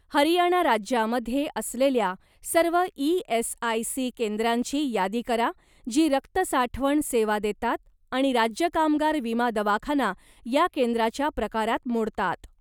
हरियाणा राज्यामध्ये असलेल्या सर्व ई.एस.आय.सी. केंद्रांची यादी करा जी रक्त साठवण सेवा देतात आणि राज्य कामगार विमा दवाखाना या केंद्राच्या प्रकारात मोडतात.